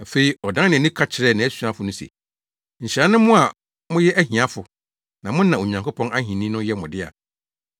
Afei ɔdan nʼani ka kyerɛɛ nʼasuafo no se, “Nhyira ne mo a moyɛ ahiafo, na mo na Onyankopɔn ahenni no yɛ mo dea!